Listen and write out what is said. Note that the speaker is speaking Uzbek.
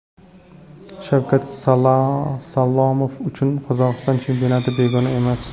Shavkat Salomov uchun Qozog‘iston chempionati begona emas.